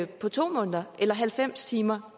på to måneder eller halvfems timer